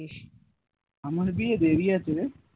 আমার বিয়ে দেরি আছে রে